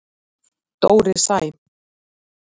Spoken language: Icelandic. Dóri Sæm.